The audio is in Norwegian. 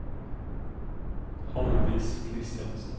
Halldis Kristiansen